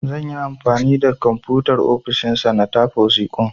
Zan yi anfani da Komfutar ofishin sa na tafa wasiƙun.